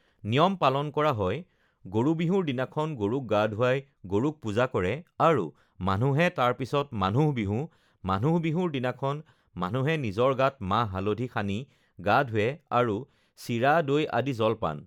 নিয়ম পালন কৰা হয়, গৰু বিহুৰ দিনাখন গৰুক গা ধুৱাই গৰুক পূজা কৰে আৰু মানুহে তাৰপিছত মানুহ বিহু, মানুহ বিহুৰ দিনাখন মানুহে নিজৰ গাত মাহ হালধি সানি গা ধুৱে আৰু চিৰা-দৈ আদি জলপান